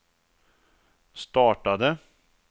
startade